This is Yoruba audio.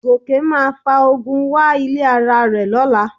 Gòkè máa fa ogun wá ilé ara rẹ̀ lọ́la